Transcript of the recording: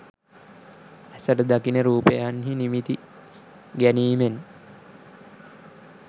ඇසට දකින රූපයන්හි නිමිති ගැනීමෙන්